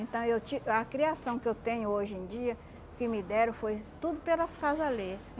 Então, eu ti a criação que eu tenho hoje em dia, que me deram, foi tudo pelas casa alheia